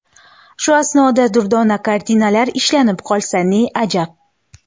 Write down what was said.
Shu asnoda durdona kartinalar ishlanib qolsa ne ajab.